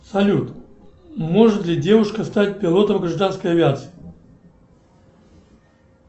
салют может ли девушка стать пилотом гражданской авиации